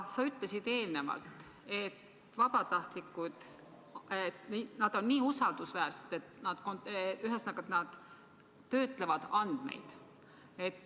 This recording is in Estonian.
Sa ütlesid eelnevalt, et vabatahtlikud on nii usaldusväärsed, et nad töötlevad andmeid.